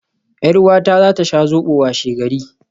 Yar uwata za ta sha Zobo washegari